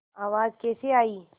आवाज़ कैसे आई